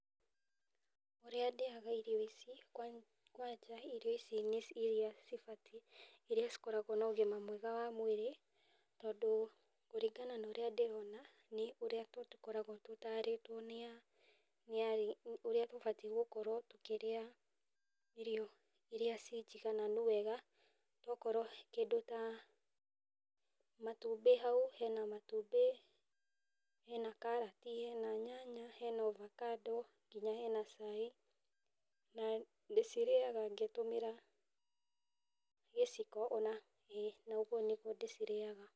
Ũrĩa ndĩaga irio ici, kwa kwanja irio ici nĩ iria cibatiĩ, iria cikoragwo na ũgima mwega mwĩrĩ , tondũ kũringana na ũrĩa ndĩrona, nĩ ũrĩa tũkoragwo tũtarĩtwo nĩ arĩ, ũrĩa tũbatiĩ gũkorwo tũkĩrĩa, irio iria ci njigananu wega, tokorwo kĩndũ ta, matumbĩ hau, hena matumbĩ, hena karati, hena nyanya, hena ovacado, nginya hena cai , na ndĩcirĩaga ngĩtũmĩra gĩciko ona ũguo nĩguo ndĩcirĩaga.